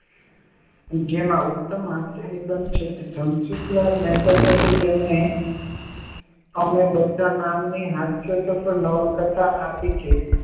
જેમાં ઉત્તમ હાસ્યનિબંધો છે. ધનસુખલાલ મહેતા સાથે તેમણે અમે બધાં નામની હાસ્યસભર નવલકથા આપી છે.